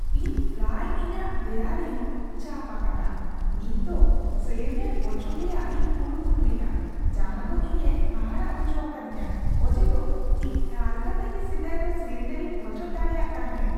ᱤᱧ ᱯᱨᱟᱭ ᱤᱧᱟᱹᱜ ᱫᱮᱭᱟᱨᱮᱧ ᱪᱟᱯ ᱟᱠᱟᱫᱟ ,ᱱᱤᱛᱫᱚ ᱥᱤᱞᱤᱱᱰᱟᱨ ᱚᱪᱚᱜ ᱨᱮᱭᱟᱜ ᱤᱧ ᱠᱩᱨᱩᱢᱩᱴᱩᱭᱮᱫᱟ ᱡᱟᱦᱟᱸᱫᱚ ᱤᱧᱮ ᱦᱟᱦᱟᱲᱟᱜ ᱦᱚᱪᱚ ᱟᱠᱟᱫᱤᱧᱟᱹ ᱚᱡᱮᱫᱚ ᱤᱧ ᱟᱞᱜᱟᱛᱮᱜᱮ ᱥᱮᱫᱟᱭ ᱫᱚ ᱥᱤᱞᱤᱱᱰᱟᱨᱤᱧ ᱚᱪᱚᱜ ᱫᱟᱲᱮᱭᱟᱜ ᱛᱟᱦᱮᱫ ᱾